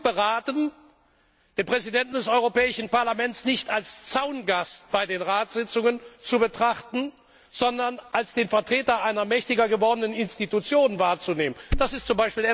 Er ist klug beraten, den Präsidenten des Europäischen Parlaments nicht als Zaungast bei den Ratssitzungen zu betrachten, sondern als den Vertreter einer mächtiger gewordenen Institution wahrzunehmen. Das ist z.